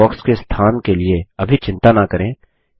list box के स्थान के लिए अभी चिंता न करें